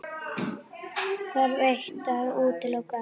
Þarf eitt að útiloka annað?